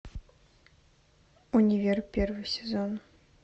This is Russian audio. универ первый сезон